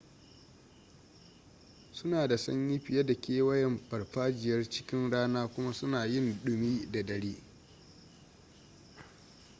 suna da sanyi fiye da kewayan farfajiyar ckin rana kuma suna yin dumi da dare